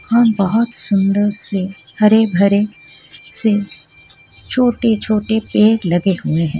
और बहोत सुन्दर से हरे भरे से छोटे छोटे पेड़ लगे हुए है.